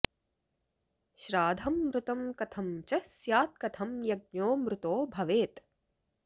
श्राधं मृतं कथं च स्यात्कथं यज्ञो मृतो भवेत्